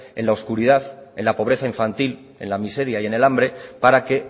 en la oscuridad en la pobreza infantil en la miseria y en el hambre para que